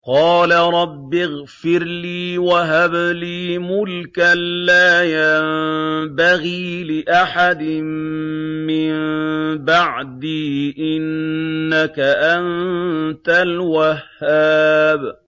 قَالَ رَبِّ اغْفِرْ لِي وَهَبْ لِي مُلْكًا لَّا يَنبَغِي لِأَحَدٍ مِّن بَعْدِي ۖ إِنَّكَ أَنتَ الْوَهَّابُ